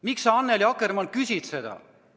Miks sa, Annely Akkermann, küsid seda?